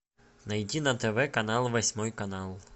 найди на тв канал восьмой канал